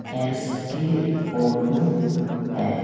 SK. Auto है|